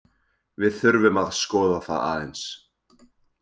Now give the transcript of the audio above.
Við þurfum að skoða það aðeins.